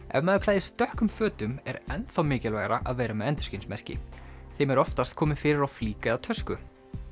ef maður klæðist dökkum fötum er enn þá mikilvægara að vera með endurskinsmerki þeim er oftast komið fyrir á flík eða tösku